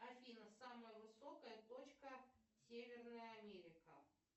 афина самая высокая точка северная америка